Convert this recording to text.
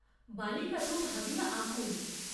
বালিকা তো ভাবিয়া আকুল।